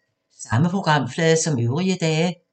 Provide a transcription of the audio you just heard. Samme programflade som øvrige dage